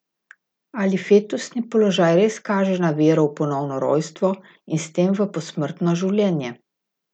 Ali fetusni položaj res kaže na vero v ponovno rojstvo in s tem v posmrtno življenje?